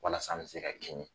Walasa an bɛ se ka kini